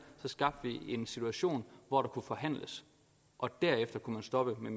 skabte en situation hvor der kunne forhandles og derefter kunne man stoppe med